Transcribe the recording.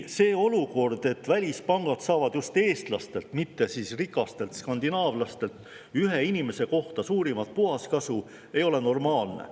See olukord, kus välispangad saavad just eestlastelt, mitte rikastelt skandinaavlastelt, ühe inimese kohta suurimat puhaskasu, ei ole normaalne.